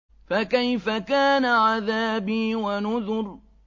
فَكَيْفَ كَانَ عَذَابِي وَنُذُرِ